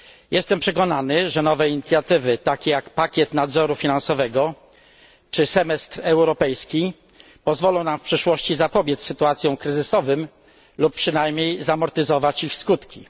Jestem przekonany, że nowe inicjatywy, takie jak pakiet nadzoru finansowego i semestr europejski, pozwolą nam w przyszłości zapobiec sytuacjom kryzysowym lub przynajmniej zamortyzować ich skutki.